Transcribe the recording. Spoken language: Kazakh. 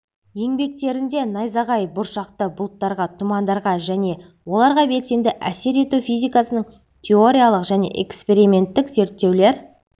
еңбектерінде найзағай-бұршақты бұлттарға тұмандарға және оларға белсенді әсер ету физикасының теориялық және эксперименттік зерттеулер